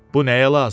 Bu nəyə lazımdır?